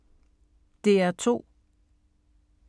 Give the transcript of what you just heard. DR2